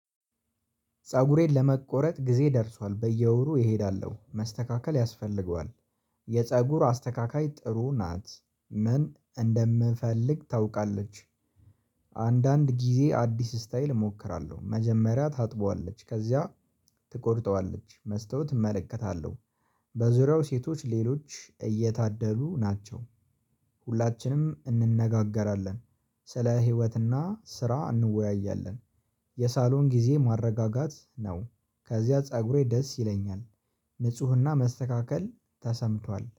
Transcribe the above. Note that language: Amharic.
ፀጉሬን ለመቆረጥ ጊዜ ደርሷል በየወሩ እሄዳለሁ መስተካከል ያስፈልገዋል የፀጉር አስተካካይ ጥሩ ናት ምን እንደምፈልግ ታውቃለች። አንዳንድ ጊዜ አዲስ ስታይል እሞክራለሁ መጀመሪያ ታጥበዋለች ከዚያ ትቆርጠዋለች መስታወት እመለከታለሁ። በዙሪያው ሴቶች ሌሎች እየታደሉ ናቸው። ሁላችንም እንነጋገራለን። ስለ ህይወትና ስራ እንወያያለን። የሳሎን ጊዜ ማረጋጋት ነው። ከዚያ ፀጉሬ ደስ ይለኛል። ንጽህና መስተካከል ተሰምቷል